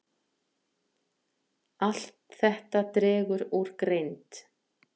Allt þetta dregur úr greind.